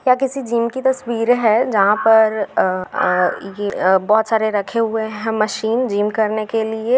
यह किसी जिम की तस्वीर हैं जहां पर अ अ ये अ बहुत सारे रखे हुए हैं मशीन जिम करने के लिए।